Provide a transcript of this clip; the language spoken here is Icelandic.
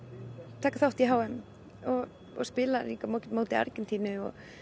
taka þátt í h m og spila á móti Argentínu